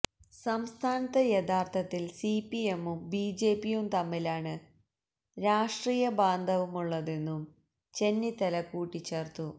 സംസ്ഥാനത്ത് യഥാര്ത്ഥത്തില് സിപിഎമ്മും ബിജെപിയും തമ്മിലാണ് രാഷ്ട്രീയ ബാന്ധവുമുള്ളതെന്നും ചെന്നിത്തല കൂട്ടിച്ചേര്ത്തു